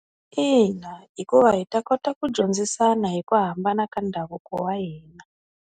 Ina hikuva hi ta kota ku dyondzisana hi ku hambana ka ndhavuko wa hina.